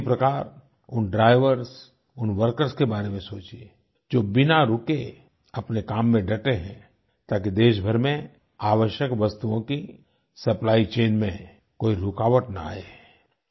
ठीक इसी प्रकार उन ड्राइवर्स उन वर्कर्स के बारे में सोचिये जो बिना रुके अपने काम में डटे हैं ताकि देश भर में आवश्यक वस्तुओं की सप्लाइचेन में कोई रुकावट ना आये